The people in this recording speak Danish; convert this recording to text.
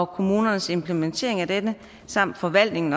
kommunernes implementering af denne samt forvaltningen